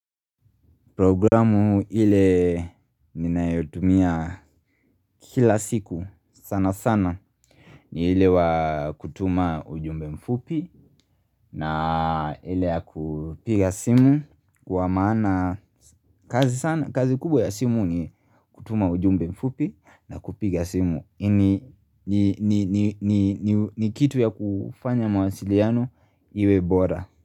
Programu ile ninayotumia kila siku sana sana ni ile wa kutuma ujumbe mfupi naa ile ya kupiga simu kwa maana kazi kubwa ya simu ni kutuma ujumbe mfupi na kupiga simu ni kitu ya kufanya mawasiliano iwe bora.